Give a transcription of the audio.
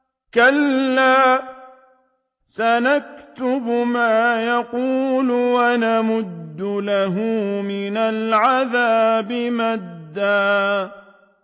كَلَّا ۚ سَنَكْتُبُ مَا يَقُولُ وَنَمُدُّ لَهُ مِنَ الْعَذَابِ مَدًّا